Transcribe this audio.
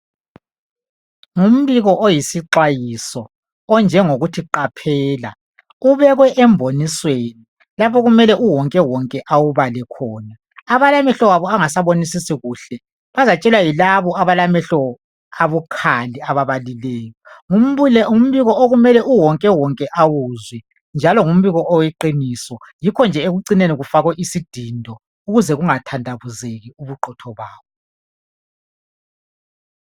Ngumbiko oyisixwayiso, onjengokuthi Qaphela! Ubekwe embonisweni. Lapho okumele uwonkewonke awubale khona. Abalamehlo abo angasabonisisi kuhle, bazatshelwa yilabo abalamehlo abukhali. Ababalileyo. Ngumbiko okumele uwonkewonke awuzwe, njalo ngumbiko weqiniso. Yikho nje ekucineni kufakwe isidindo ukuze kungathandabuzeki ubuqotho bawo.